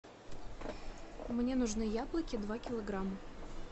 мне нужны яблоки два килограмма